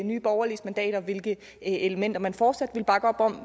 nye borgerliges mandater og hvilke elementer man fortsat ville bakke op om